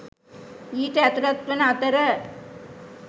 ඊට ඇතුළත් වන අතර,